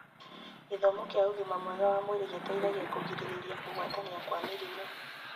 Gĩthomo kĩa ũgima mwega wa mwĩri gĩteithagia kũgirĩrĩria kũgwatania kwa mĩrimũ.